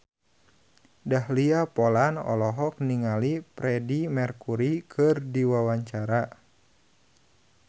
Dahlia Poland olohok ningali Freedie Mercury keur diwawancara